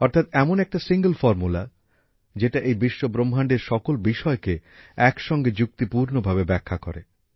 অর্থাৎ এমন একটা সিঙ্গেল ফর্মুলা যেটা এই বিশ্বব্রহ্মাণ্ডের সকল বিষয়কে একসঙ্গে যুক্তিপূর্ণভাবে ব্যাখ্যা করে